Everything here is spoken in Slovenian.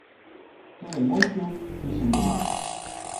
To je moj klub, tu sem doma.